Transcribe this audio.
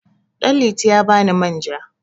Ɗanliti ya ba ni manja.